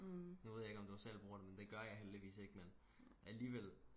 nu ved jeg ikke om du selv bruger den men det gør jeg heldigvis ikke men alligevel